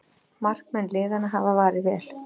Markmenn liðanna hafa varið vel